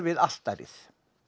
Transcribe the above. altarið